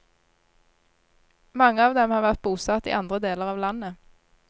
Mange av dem har vært bosatt i andre deler av landet.